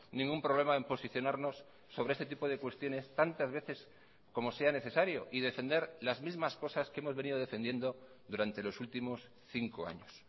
ningún problema en posicionarnos sobre este tipo de cuestiones tantas veces como sea necesario y defender las mismas cosas que hemos venido defendiendo durante los últimos cinco años